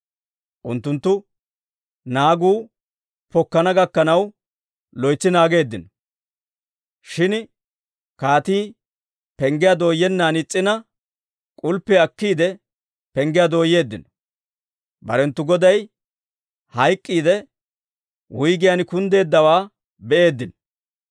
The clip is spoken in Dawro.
Unttunttu naagu pokkana gakkanaw loytsi naageeddino. Shin kaatii penggiyaa dooyennan is's'ina, k'ulppiyaa akkiide penggiyaa dooyeeddino; barenttu goday hayk'k'iidde, wuyggiyaan kunddeeddawaa be'eeddino.